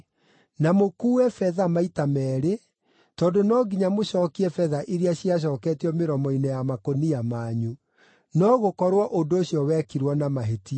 Na mũkuue betha maita meerĩ, tondũ no nginya mũcookie betha iria ciacooketio mĩromo-inĩ ya makũnia manyu. No gũkorwo ũndũ ũcio wekirwo na mahĩtia.